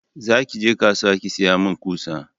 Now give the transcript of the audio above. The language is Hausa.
za ki je kasuwa ki saya min ƙusa!